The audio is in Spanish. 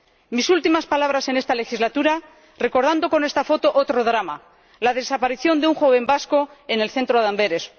Mis últimas palabras en esta legislatura, recordando con esta foto otro drama la desaparición de un joven vasco en el centro de Amberes